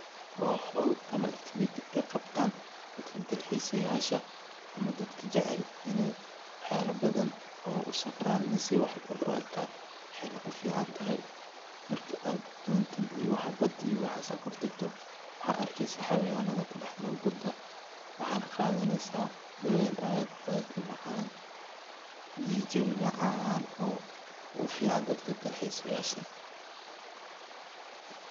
waa hol ama activity ay qabtandadka dal xiisayasha ama dadka jecel wax yala badan oo usafran si wax u arkan waxay na kuficantahay marki ad dontan iyo waxa bad iyo waxayabahas ad kor tagto waxad arkeysa xawayanada kudhax nol bada waxadna qaadaneysa dabeel aad aad umacaan iyo jewi macaan oo ufican dadka dal xiisayasha